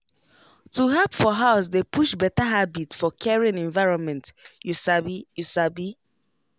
to help for house dey push better habit for caring environment you sabi you sabi